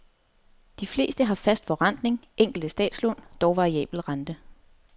De fleste har fast forrentning, enkelte statslån dog variabel rente.